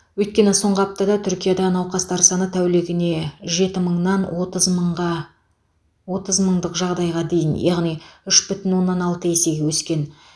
өйткені соңғы аптада түркияда науқастар саны тәулігіне жеті мыңнан отыз мыңға отыз мыңдық жағдайға дейін яғни үш бүтін оннан алты есеге өсті